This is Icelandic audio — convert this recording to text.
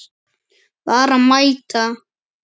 Bara mæta.